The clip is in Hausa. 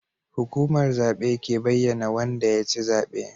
Hukumar zabe ke bayyAna Wanda yaci zabe